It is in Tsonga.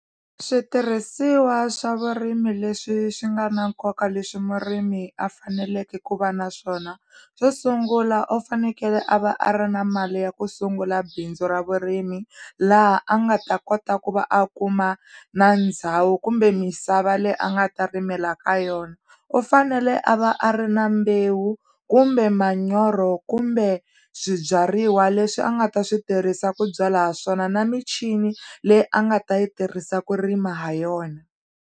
Switirhisiwa swa vurimi leswi swi nga na nkoka leswi murimi a faneleke ku va na swona xo sungula u fanekele a va a ri na mali ya ku sungula bindzu ra vurimi laha a nga ta kota ku va a kuma na ndhawu kumbe misava leyi a nga ta rimela ka yona, u fanele a va a ri na mbewu kumbe manyoro kumbe swibyariwa leswi a nga ta swi tirhisa ku byala swona na michini leyi a nga ta yi tirhisa ku rima ha yona.